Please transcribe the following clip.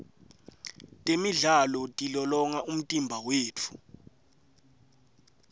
temidlalo tilolonga umtimba wetfu